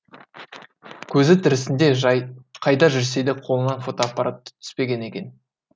көзі тірісінде қайда жүрсе де қолынан фотоаппараты түспеген екен